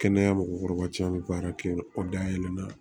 Kɛnɛya mɔgɔkɔrɔba caman bɛ baara kɛ yen o da yɛlɛla